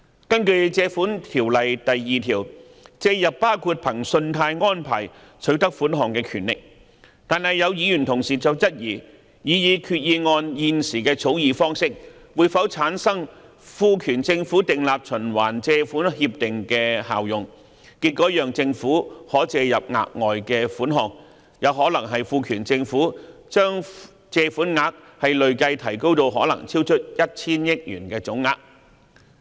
根據《條例》第2條，"借入"包括憑信貸安排取得款項的權力，但有議員質疑擬議決議案現時的草擬方式會否產生賦權政府訂立循環借款協定的效用，結果讓政府可借入額外款項，有可能賦權政府將借款額累計提高至可能超出 1,000 億元的總額。